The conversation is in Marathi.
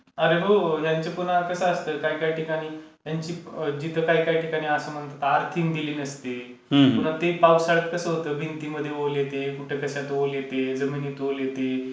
अरे हो, त्यांचं पूर्ण कसं असतं काही काही ठिकाणी त्यांची जिथं काय काय ठिकाणी असं म्हणतात अर्थिंग दिलेली नसते, पुन्हा ते पावसाळ्यात कसं होतं भिंतीमध्ये ओल येते, कुठं कश्यात ओल येते, जमिनीमध्ये ओल येते,